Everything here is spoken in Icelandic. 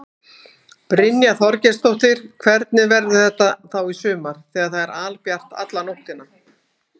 Brynja Þorgeirsdóttir: Hvernig verður þetta þá í sumar þegar það er albjart alla nóttina?